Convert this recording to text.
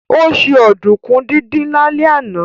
Ó se ọ̀dùnkún díndín lálẹ́ àná